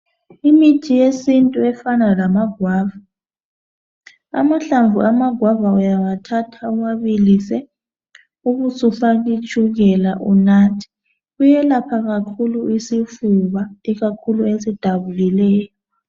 Imithi yesintu efana lamagwava. Amahlanvu amagwava uyathatha uwabilisa. Ubusufaia itshukela. Kuyelapha kakhulu isifuba. lkakhulu esidabukileyo.